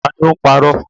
Ta ni ó́ parọ̀?